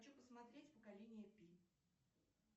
хочу посмотреть поколение пи